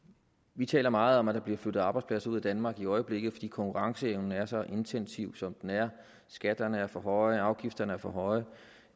vi taler meget om at der bliver flyttet arbejdspladser ud af danmark i øjeblikket fordi konkurrenceevnen er så intensiv som den er skatterne er for høje og afgifterne er for høje